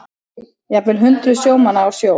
Jafnvel hundruð sjómanna á sjó